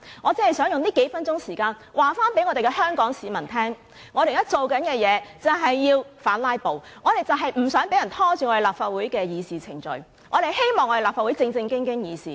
我只想用這數分鐘告訴香港市民，我們現在做的事就是要反"拉布"，我們不想立法會的議事程序被人拖延，我們希望立法會能正正經經地議事。